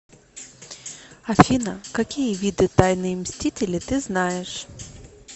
афина какие виды тайные мстители ты знаешь